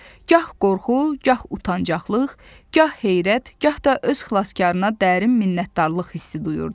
gah qorxu, gah utanclıq, gah heyrət, gah da öz xilaskarına dərin minnətdarlıq hissi duyurdu.